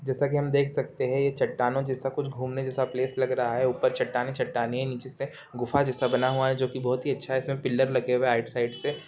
जैसा की हम देख सकते है ये चट्टानो जैसा कुछ घूमने जैसा प्लेस लग रहा है ऊपर चट्टाने-चट्टाने है नीचे से गुफा जैसे बना हुआ है जो की बहोत ही अच्छा है इसमें पिलर लगे हुए है राइट साइड से